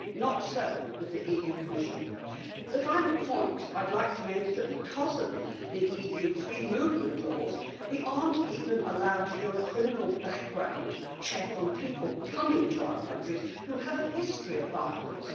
Not so with the EU Commission. The final point I would like to make is that because of EU free movement laws, we are not even allowed to do a criminal background check on people coming to our countries who have a history of violence.